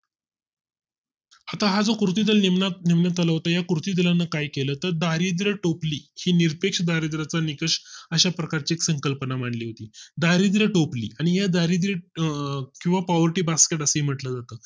आता हां जो कृतीदल नियमित केला होता तर या कुत्री दलाने काय केलं होत तर दारिद्रय़ टोपली हि निरपेक्ष दारिद्रय़ चा निकष अशा प्रकारची संकल्पना मांडली होती दारिद्र टोपली किंवा poverty जास्त असे म्हटले जाते